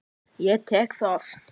Ég tek það!